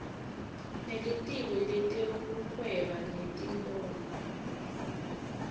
nelitiko letekuhweba netimboni